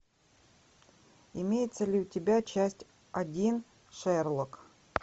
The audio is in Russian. имеется ли у тебя часть один шерлок